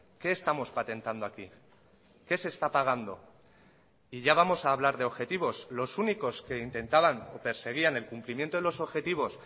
qué estamos patentando aquí qué se está pagando y ya vamos a hablar de objetivos los únicos que intentaban o perseguían el cumplimiento de los objetivos